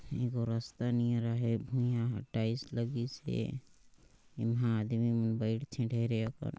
ए गो रास्ता निहरहे भुईया टाइल्स लगिसे एहा आदमी मन बइठते ठेरे अकन।